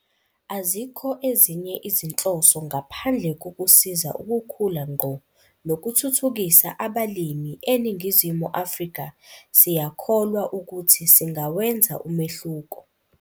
Azikho ezinye izinhloso ngaphandle kokusiza ukukhula ngqo nokuthuthukisa abalimi eNingizimu Afrika siyakholwa ukuthi singawenza umehluko.